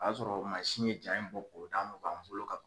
O y'a sɔrɔ mansin ye ja in bɔ k'o d'an ma, o b'an bolo ka ban